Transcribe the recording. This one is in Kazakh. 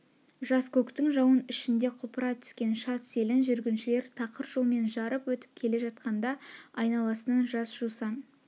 жас көктің жауын ішінде құлпыра түскен шат селін жүргіншілер тақыр жолмен жарып өтіп келе жатқанда айналасынан жас жусан